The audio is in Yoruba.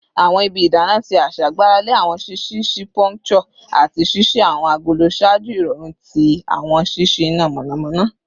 Awọn ibi idana ti aṣa gbarale awọn ṣiṣii si puncture ati ṣiṣi awọn agolo ṣaaju irọrun ti awọn ṣiṣi ina mọnamọna